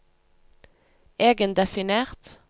egendefinert